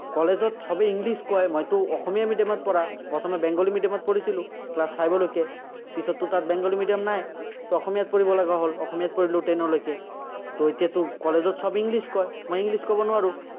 কলেজত চবেই english কয়, মইতো অসমীয়া medium ত পঢ়া। প্ৰথমে বেংগলী medium ত পঢ়িছিলো, class five লৈকে। পিছতো তাত বেংগলী medium নাই, অসমীয়াত পঢ়িব লগা হ'ল, অসমীয়াত পঢ়িলো ten লৈকে। এতিয়াতো কলেজত চব english কয়। english ক'ব নোৱাৰো।